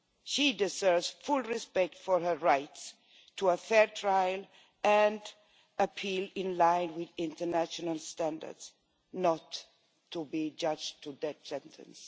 She deserves full respect for her right to a fair trial and appeal, in line with international standards, not to be judged to that sentence.